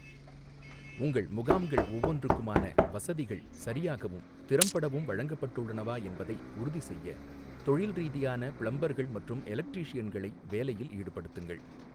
உங்கள் முகாம்கள் ஒவ்வொன்றுக்குமான வசதிகள் சரியாகவும் திறம்படவும் வழங்கப்பட்டுள்ளனவா என்பதை உறுதிசெய்ய தொழில் ரீதியான பிளம்பர்கள் மற்றும் எலக்ட்ரீஷியன்களை வேலையில் ஈடுபடுத்துங்கள்.